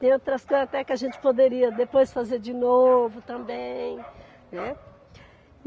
Tem outras coisas até que a gente poderia depois fazer de novo também, né.